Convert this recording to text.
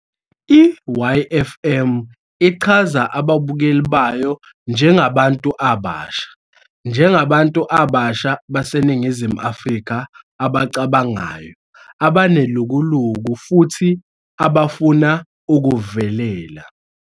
I-YFM ichaza ababukeli bayo njengabantu abasha "njengabantu abasha baseNingizimu Afrika abacabangayo, abanelukuluku futhi abafuna ukuvelela.